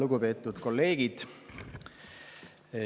Lugupeetud kolleegid!